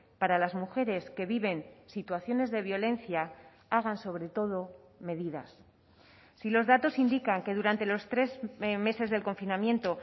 para las mujeres que viven situaciones de violencia hagan sobre todo medidas si los datos indican que durante los tres meses del confinamiento